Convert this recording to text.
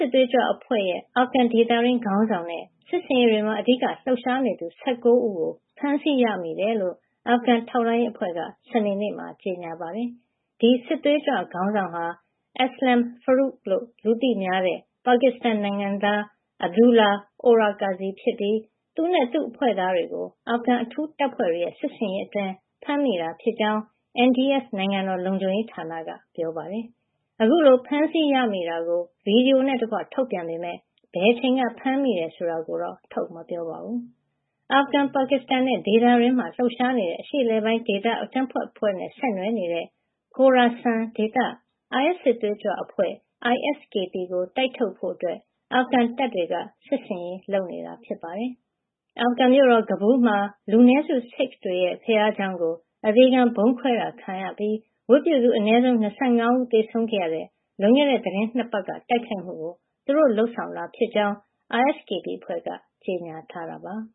စ်သွေးကြွအဖွဲ့ရဲ့ အာဖဂန်ဒေသတွင်း ခေါင်းဆောင်နဲ့ စစ်ဆင်ရေးတွေမှာ အဓိကလှုပ်ရှားနေသူ ၁၉ ဦးကို ဖမ်းဆီးရမိကြောင်း အာဖဂန် ထောက်လှမ်းရေးအဖွဲ့က စနေနေ့မှာ ကြေညာပါတယ်။ ဒီ စစ်သွေးကြွခေါင်းဆောင်ဟာ Aslam Farooqi လို့ လူသိများတဲ့ ပါကစ္စတန်နိုင်ငံသား Abdullah Orakzai ဖြစ်ပြီး သူနဲ့ သူ့အဖွဲ့သားတွေကို အာဖဂန် အထူးတပ်ဖွဲ့တွေရဲ့ စစ်ဆင်ရေးအတွင်း ဖမ်းမိတာဖြစ်ကြောင်း NDS နိုင်ငံတော် လုံခြုံရေးဌာနက ပြောပါတယ်။ အခုလို ဖမ်းဆီးရမိတာကို ဗွီဒီယိုနဲ့တကွ ထုတ်ပြန်ပေမယ့် ဘယ်အချိန်က ဖမ်းမိတယ် ဆိုတာတော့ ထုတ်မပြောပါဘူး။ အာဖဂန်၊ ပါကစ္စတန်နဲ့ ဒေသတွင်းမှာ လှုပ်ရှားနေတဲ့ အရှေ့အလယ်ပိုင်းဒေသ အကြမ်းဖက်အဖွဲ့နဲ့ ဆက်နွှယ်နေတဲ့ Khorasan ဒေသ အိုင်အက်စ် စစ်သွေးကြွအဖွဲ့ ISKP ကို တိုက်ထုတ်ဖို့ အာဖဂန်တပ်တွေက စစ်ဆင်ရေးလုပ်နေတာ ဖြစ်ပါတယ်။ အာဖဂန်မြို့တော် ကဘူးလ်မှာ လူနည်းစု ဆစ်ခ်တွေရဲ့ ဘုရားကျောင်းကို အသေခံဗုံးဖောက်ခွဲတာ ခံခဲ့ရပြီး ဝတ်ပြုသူ အနည်းဆုံး ၂၅ ဦး သေဆုံးခဲ့ရတဲ့ လွန်ခဲ့တဲ့ သီတင်း ၂ ပတ်က တိုက်ခိုက်မှုကို သူတို့လုပ်ဆောင်တာ ဖြစ်ကြောင်း ISKP အဖွဲ့က ကြေညာထားတာပါ။